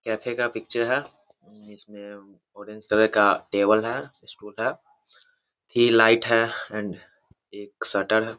Cafe का picture है। इसमें ऑरेंज कलर का टेबल है है। थ्री लाइट है एंड एक शटर है।